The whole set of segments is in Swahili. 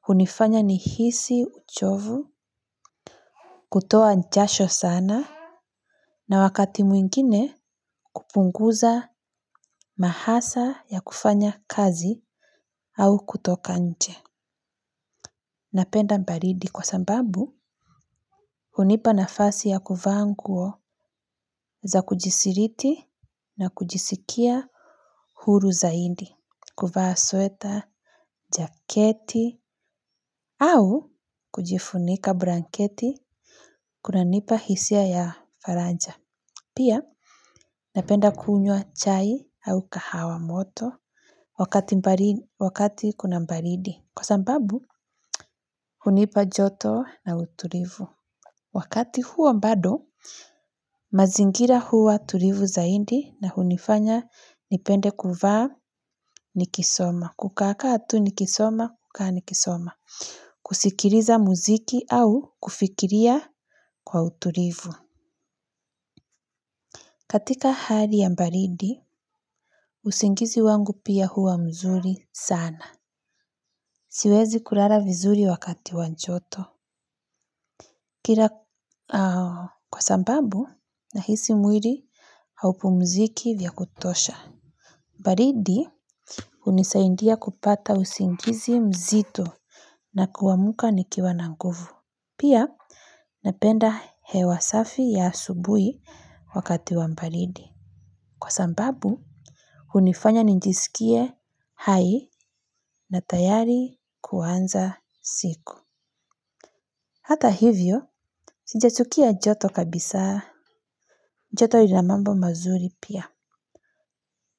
hunifanya nihisi uchovu kutoa jasho sana. Na wakati mwingine kupunguza mahasa ya kufanya kazi au kutoka nje. Napenda baridi kwa sababu hunipa nafasi ya kuvaa nguo za kujisiriti na kujisikia huru zaidi. Kuvaa sweta, jaketi au kujifunika blanketi kunanipa hisia ya faraja. Pia napenda kunywa chai au kahawa moto wakati kuna baridi. Kwa sababu, hunipa joto na utulivu. Wakati huo bado, mazingira huwa tulivu zaidi na hunifanya nipende kuvaa nikisoma. Kukakaa tu nikisoma, kukaa nikisoma. Kusikiriza muziki au kufikiria kwa uturivu. Katika hali ya baridi, usingizi wangu pia huwa mzuri sana. Siwezi kulala vizuri wakati wa joto. Kila kwa sababu, nahisi mwili haupumziki vya kutosha. Baridi, hunisaindia kupata usingizi mzito na kuamka nikiwa na nguvu. Pia, napenda hewa safi ya asubuhi wakati wa baridi. Kwa sababu, hunifanya nijisikie hai na tayari kuanza siku. Hata hivyo, sijachukia joto kabisa, joto lina mambo mazuri pia.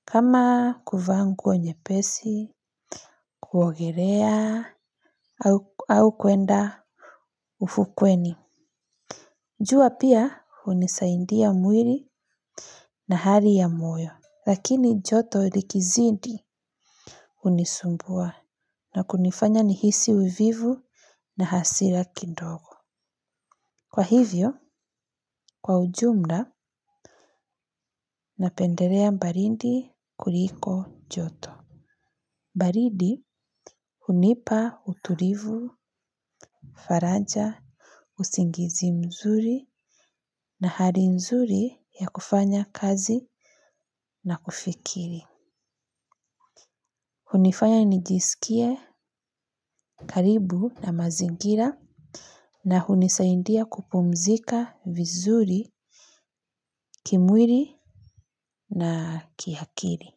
Kama kuvaa nguo nyepesi, kuogelea, au kwenda ufukweni. Jua pia, hunisaidia mwili na hali ya moyo. Lakini joto likizidi hunisumbua na kunifanya nihisi uvivu na hasira kidogo. Kwa hivyo, kwa ujumla napendelea baridi kuliko joto. Baridi, hunipa utulivu, faraja, usingizi mzuri na hali nzuri ya kufanya kazi na kufikiri. Hunifanya nijisikie karibu na mazingira na hunisaidia kupumzika vizuri kimwili na kiakili.